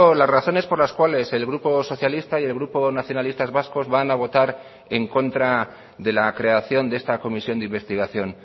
las razones por las cuales el grupo socialista y el grupo nacionalistas vascos van a votar en contra de la creación de esta comisión de investigación